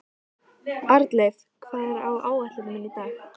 Arnleif, hvað er á áætluninni minni í dag?